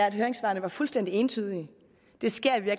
at høringssvarene var fuldstændig entydige det sker